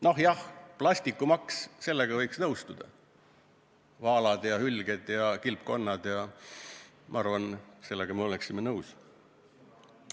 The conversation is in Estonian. Noh, plastimaks – sellega võiks nõustuda, vaalad ja hülged ja kilpkonnad – ma arvan, et sellega me oleksime nõus.